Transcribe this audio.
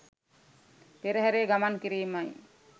පෙරහරේ ගමන් කිරීමයි.